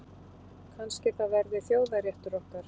Kannski það verði þjóðarréttur okkar.